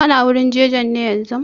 Kana wurin jajen ne yanzun?